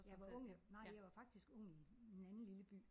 Jeg var ung nej jeg var faktisk ung i en anden lille by